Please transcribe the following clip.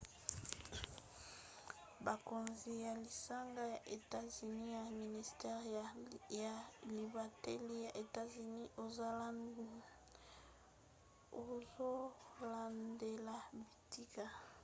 bakonzi ya lisanga ya etats-unis ya ministere ya libateli ya etats-unis azolandela bitika